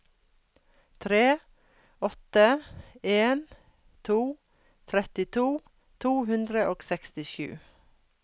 tre åtte en to trettito to hundre og sekstisju